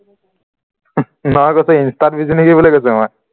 insta busy নেকি বুলি কৈছিলো মই